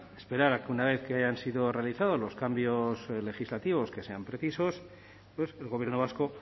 esperar a que una vez que hayan sido realizados los cambios legislativos que sean precisos el gobierno vasco